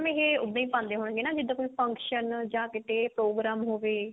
ਇਹ ਉੱਦਾਂ ਹੀ ਪਾਉਂਦੇ ਹੋਣਗੇ ਜਿਦਾਂ ਕੋਈ function ਜਾਂ ਕਿਤੇ ਪ੍ਰੋਗਰਾਮ ਹੋਵੇ